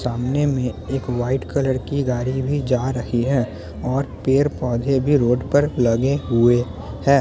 सामने में एक वाईट कलर की गाड़ी भी जा रही है और पेड़-पोधे भी रोड पर लगे हुए हैं।